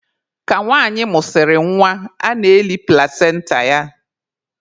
Ka nwanyị mụsịrị nwa, a na-eli plasenta ya.